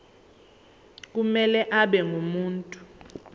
kumele abe ngumuntu